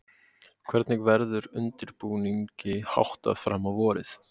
Hvernig verður undirbúningi háttað fram á vorið?